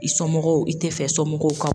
I somɔgɔw i ti fɛ i somɔgɔw ka